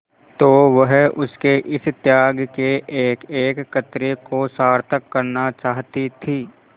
तो वह उसके इस त्याग के एकएक कतरे को सार्थक करना चाहती थी